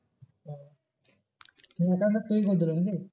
করে দিলো নাকি?